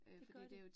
Det gør det